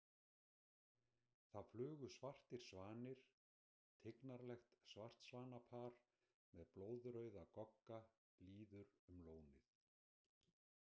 Það flugu svartir svanir Tignarlegt svartsvanapar með blóðrauða gogga líður um lónið.